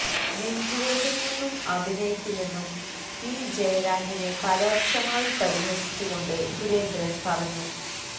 നെഞ്ചുവേദനയൊന്നും അഭിനയിക്കില്ലെന്നും പി ജയരാജനെ പരോക്ഷമായി പരിഹസിച്ച് കൊണ്ട് സുരേന്ദ്രന് പറഞ്ഞു